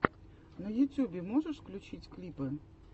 на ютьюбе можешь включить клипы